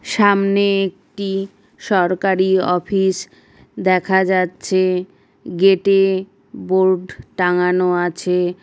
সামনে একটি সরকারি অফিস দেখা যাচ্ছে ।গেটে বোর্ড টাঙ্গানো আছে ।